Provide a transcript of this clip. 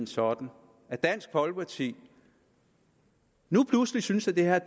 sådan at dansk folkeparti nu pludselig synes at det her